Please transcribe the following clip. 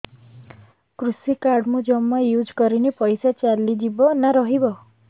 କୃଷି କାର୍ଡ ମୁଁ ଜମା ୟୁଜ଼ କରିନି ପଇସା ଚାଲିଯିବ ନା ରହିବ